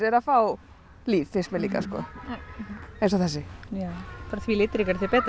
að fá líf finnst mér eins og þessi því litríkara því betra